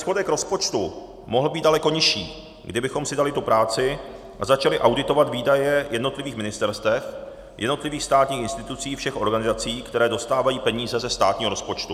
Schodek rozpočtu mohl být daleko nižší, kdybychom si dali tu práci a začali auditovat výdaje jednotlivých ministerstev, jednotlivých státních institucí všech organizací, které dostávají peníze ze státního rozpočtu.